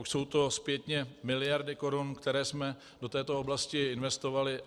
Už jsou to zpětně miliardy korun, které jsme do této oblasti investovali.